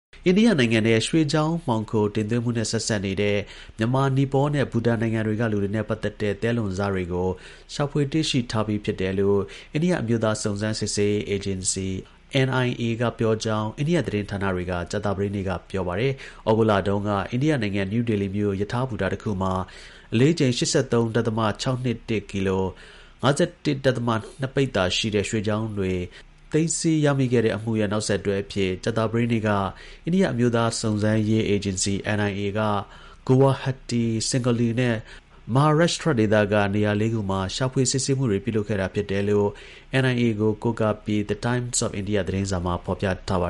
အိန္ဒိယနိုင်ငံထဲ ရွှေချောင်းမှောင်ခို တင်သွင်းမှုနဲ့ ဆက်စပ်နေတဲ့ မြန်မာ၊ နီပေါနဲ့ ဘူတန်နိုင်ငံက လူတွေနဲ့ ပတ်သက်တဲ့ သဲလွန်စ တွေ ကို ရှာဖွေ တွေ့ရှိထားပြီလို့ အိန္ဒိယ အမျိုးသား စုံစမ်းစစ်ဆေးရေး အေဂျင်စီ (NIA)က ပြောကြောင်း အိန္ဒိယ သတင်းဌာနတွေက ကြာသပတေးနေ့က ပြောပါတယ်။ ဩဂုတ်လတုန်းက အိန္ဒိယနိုင်ငံ နယူးဒေလီမြို့ ရထားဘူတာတစ်ခုမှာ အလေးချိန် ၈၃.၆၂၁ ကီလို (၅၁.၂ ပိဿာ) ရှိတဲ့ ရွှေချောင်းတွေ သိမ်းဆည်းရရှိခဲ့တဲ့ အမှုရဲ့ နောက်ဆက်တွဲအဖြစ် ကြာသပတေးနေ့က အိန္ဒိယ အမျိုးသား စုံစမ်းစစ်ဆေးရေး အေဂျင်စီ (NIA)က Guwahti၊ Sangli နဲ့ Maharashtra ဒေသက နေရာ ၄ ခုမှာ ရှာဖွေ စစ်ဆေးမှုတွေ ပြုလုပ်ခဲ့တာဖြစ်တယ်လို့ NIA ကို ကိုးကားပြီး The Times of India သတင်းစာမှာ ဖော်ပြထားတာပါ